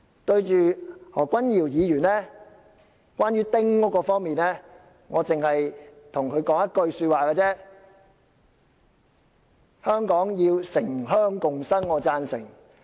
關於何君堯議員就丁屋方面的發言，我只想向他說一句話：香港要城鄉共生，我是贊成的。